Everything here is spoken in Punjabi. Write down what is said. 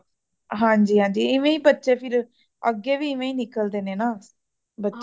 ਹਾਂਜੀ ਹਾਂਜੀ ਇਵੇਂ ਹੀ ਬੱਚੇ ਫਿਰ ਅਗੇ ਵੀ ਇਵੇਂ ਹੀ ਨਿਕਲਦੇ ਨੇ ਨਾ ਬੱਚੇ